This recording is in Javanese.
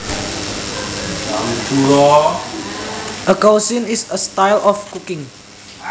A cuisine is a style of cooking